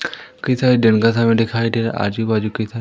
कई सारे दिन का समय दिखाई दे रहा आजु बाजू कई सा--